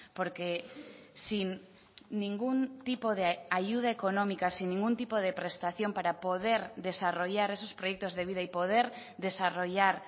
porque sin ningún tipo de ayuda económica sin ningún tipo de prestación para poder desarrollar esos proyectos de vida y poder desarrollar